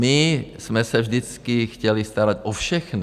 My jsme se vždycky chtěli starat o všechny.